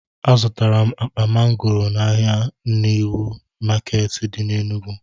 Azụtara m akpa mangoro n'ahịa niw maketi di na Enugu